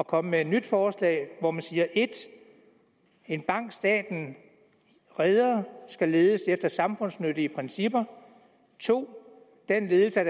at komme med et nyt forslag hvor man siger 1 en bank som staten redder skal ledes efter samfundsnyttige principper 2 den ledelse